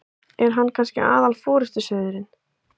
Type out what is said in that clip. Er hann kannski aðal forystusauðurinn?